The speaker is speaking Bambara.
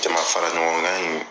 Jama fara ɲɔgɔnkan in